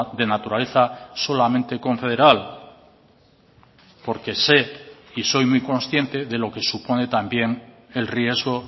de naturaleza solamente confederal porque sé y soy muy consciente de lo que supone también el riesgo